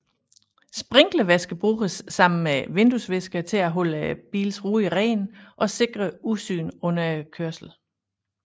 Sprinklervæske bruges sammen med vinduesviskerne til at holde bilens ruder rene og sikre udsynet under kørslen